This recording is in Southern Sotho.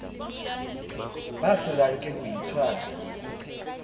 ba hlolwang ke ho itshwara